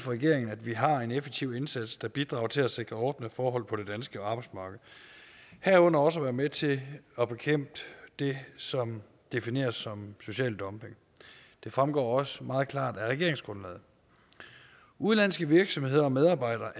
regeringen at vi har en effektiv indsats der bidrager til at sikre ordnede forhold på det danske arbejdsmarked herunder også at være med til at bekæmpe det som defineres som social dumping det fremgår også meget klart af regeringsgrundlaget udenlandske virksomheder og medarbejdere